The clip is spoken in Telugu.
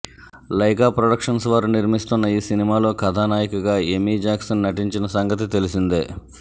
లైకా ప్రొడక్షన్స్ వారు నిర్మిస్తోన్న ఈ సినిమాలో కథానాయికగా ఎమీ జాక్సన్ నటించిన సంగతి తెలిసిందే